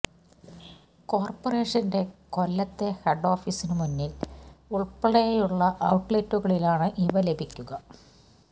കോർപറേഷൻ്റെ കൊല്ലത്തെ ഹെഡ് ഓഫിസിനു മുന്നിൽ ഉൾപ്പെടെയുള്ള ഔട്ലെറ്റുകളിലാണ് ഇവ ലഭിക്കുക